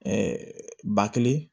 ba kelen